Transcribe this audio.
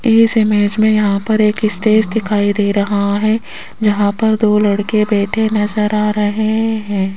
इस इमेज में यहां पर एक स्टेज दिखाई दे रहा है जहां पर दो लड़के बैठे नज़र आ रहे हैं।